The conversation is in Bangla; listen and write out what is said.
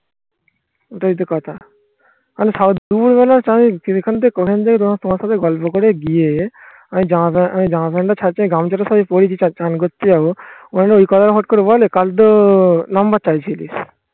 ওটাই তো কথা তোমার সাথে গল্প করে গিয়ে, আমি জামা pant, আমি জামা pant টা ছাড়ছি, আমি গামছাটা সবই পড়েছি, আর চান করতে যাবো. ওখানে ওই করে বলে কাল তো number চাইছিলি.